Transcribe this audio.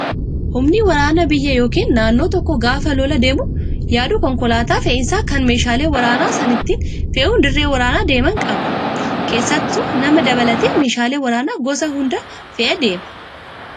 Humni waraanaa biyya yookiin naannoo tokkoo gaafa lola deemuu yaadu konkolaataa fe'iisaa kan meeshaalee waraanaa sana itti fe'uun dirree waraanaa deeman qabu. Keessattuu nama dabalatee meeshaalee waraanaa gosa hundaa fe'ee deema.